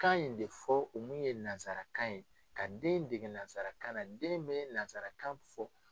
kan in de fɔ o mun ye nazarakan ye ka den dege nazara kan na den bɛ nazarakan fɔ.